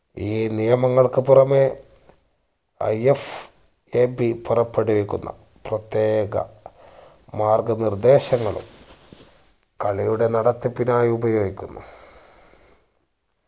ഈ നിയമങ്ങൾക്ക് പുറമെ IFAB പുറപ്പെടുവിക്കുന്ന പ്രതേക മാർഗ നിർദ്ദേശങ്ങളും കളിയുടെ നടത്തിപ്പിക്കാനായി ഉപയോഗിക്കുന്നു